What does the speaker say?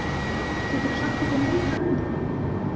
Geturðu sagt okkur meira um það?